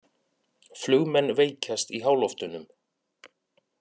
Flugmenn veikjast í háloftunum